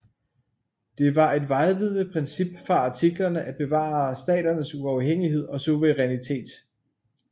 Det var et vejledende princip fra Artiklerne at bevare staternes uafhængighed og suverænitet